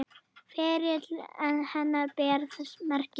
Ferill hennar ber þess merki.